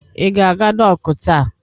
I ga-aga dọkụ taa?